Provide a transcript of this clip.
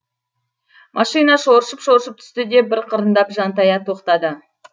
машина шоршып шоршып түсті де бір қырындап жантая тоқтады